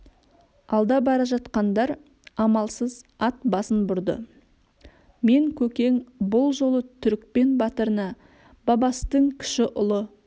алда бара жатқандар амалсыз ат басын бұрды мен көкең бұл жолы түрікпен батырына бабастың кіші ұлы